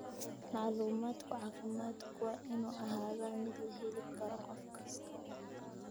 Macluumaadka caafimaadku waa inuu ahaadaa mid la heli karo qof kasta.